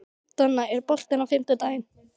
Donna, er bolti á fimmtudaginn?